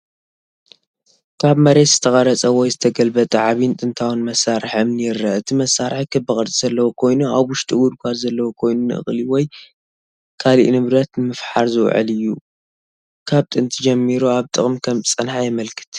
ካብ መሬት ዝተቐርጸ ወይ ዝተገልበጠ ዓቢን ጥንታዊን መሳርሒ እምኒ ይርአ። እቲ መሳርሒ ክቢ ቅርጺ ዘለዎ ኮይኑ ኣብ ውሽጡ ጉድጓድ ዘለዎ ኮይኑ ንእኽሊ ወይ ካልእ ንብረት ንምፍሓር ዝውዕል እዩ። ካብ ጥንቲ ጀሚሩ ኣብ ጥቕሚ ከም ዝጸንሐ የመልክት።